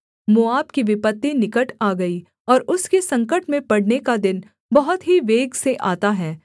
मोआब की विपत्ति निकट आ गई और उसके संकट में पड़ने का दिन बहुत ही वेग से आता है